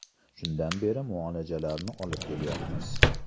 Shundan beri muolajalarni olib kelyapmiz.